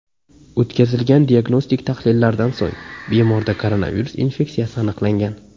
O‘tkazilgan diagnostik tahlillardan so‘ng bemorda koronavirus infeksiyasi aniqlangan.